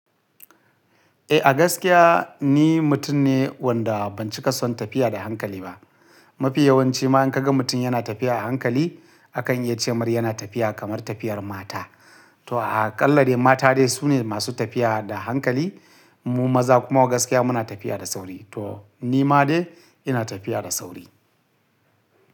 Eh, a gaskiya ni mutum ne wanda ban cika son tafiya da hankali ba. Mafi yawanci ma in ka ga mutum yana tafiya a hankali, akan iya ce ma yana tafiya kamar tafiyar mata. To aƙallade mata dai su ne masu tafiya da hankali. Mu maza kuma a gaskiya muna tafiya da sauri. To ni ma dai ina tafiya da sauri.